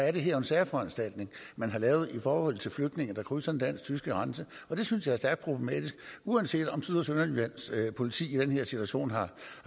er det her en særforanstaltning man har lavet i forhold til flygtninge der krydser den dansk tyske grænse og det synes jeg er stærkt problematisk uanset om syd og sønderjyllands politi i den her situation har